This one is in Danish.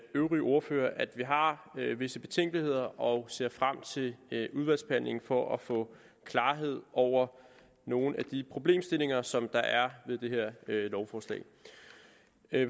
øvrige ordførere at vi har visse betænkeligheder og ser frem til udvalgsbehandlingen for at få klarhed over nogle af de problemstillinger som der er ved det her lovforslag